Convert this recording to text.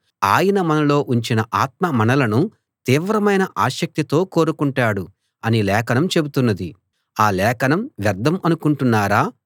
ఆయన మనలో ఉంచిన ఆత్మ మనలను తీవ్రమైన ఆసక్తితో కోరుకుంటాడు అని లేఖనం చెబుతున్నది ఆ లేఖనం వ్యర్థం అనుకుంటున్నారా